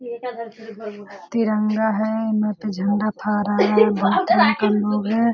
तिरंगा है झंडा था रहा है भारतीय का लोग है।